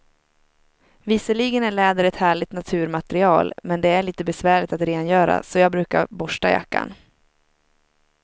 Visserligen är läder ett härligt naturmaterial, men det är lite besvärligt att rengöra, så jag brukar borsta jackan.